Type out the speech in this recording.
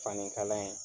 Fani kala ye